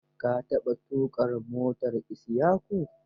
Ka taɓa tuƙa motar Isyaku?